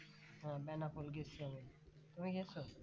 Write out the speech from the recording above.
হ্যাঁ বেনাপোল গেছি আমি তুমি গেছো